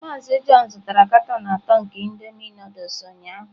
Mazị John zụtara katọn atọ nke indomie Nụdụls ụnyahụ.